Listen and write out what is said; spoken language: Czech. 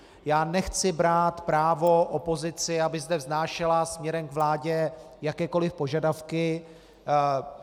Já nechci brát právo opozici, aby zde vznášela směrem k vládě jakékoliv požadavky.